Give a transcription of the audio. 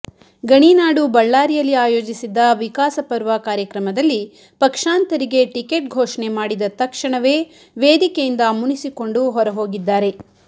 ಗಣಿನಾಡು ಬಳ್ಳಾರಿಯಲ್ಲಿ ಆಯೋಜಿಸಿದ್ದ ವಿಕಾಸಪರ್ವ ಕಾರ್ಯಕ್ರಮದಲ್ಲಿ ಪಕ್ಷಾಂತರಿಗೆ ಟಿಕೆಟ್ ಘೋಷಣೆ ಮಾಡಿದ ತಕ್ಷಣವೇ ವೇದಿಕೆಯಿಂದ ಮುನಿಸಿಕೊಂಡು ಹೊರಹೋಗಿದ್ದಾರೆ